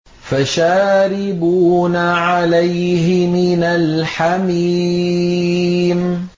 فَشَارِبُونَ عَلَيْهِ مِنَ الْحَمِيمِ